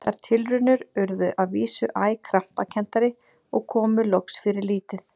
Þær tilraunir urðu að vísu æ krampakenndari og komu loks fyrir lítið.